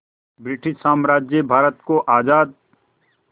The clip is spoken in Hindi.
ब्रिटिश साम्राज्य भारत को आज़ाद